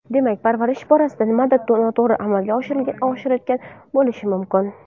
Demak, parvarish borasida nimadir noto‘g‘ri amalga oshirilayotgan bo‘lishi mumkin.